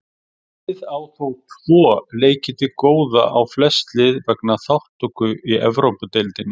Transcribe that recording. Liðið á þó tvo leiki til góða á flest lið vegna þátttöku í Evrópudeildinni.